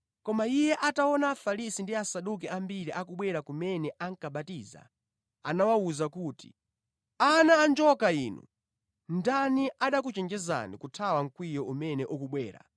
Koma iye ataona Afarisi ndi Asaduki ambiri akubwera kumene ankabatiza, anawawuza kuti, “Ana a njoka inu! Ndani anakuchenjezani kuthawa mkwiyo umene ukubwera?